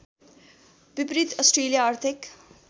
विपरीत अस्ट्रेलिया आर्थिक